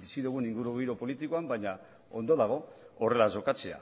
bizi dugun ingurugiro politikoan baina ondo dago horrela jokatzea